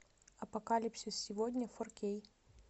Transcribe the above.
апокалипсис сегодня фор кей